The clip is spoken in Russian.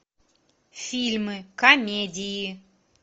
фильмы комедии